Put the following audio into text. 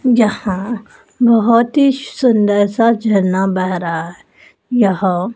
जहां बहोत ही सुंदर सा झरना बह रहा यह--